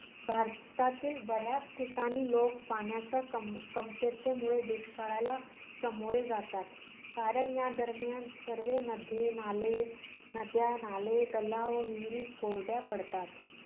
भारतातील बऱ्याच ठिकाणी लोक पाण्याच्या कम~ कमतरतेमुळे दुष्काळाला सामोरे जातात. कारण या दरम्यान सर्व नद्यानाले~ नद्या, नाले, तलाव व विहिरी कोरड्या पडतात.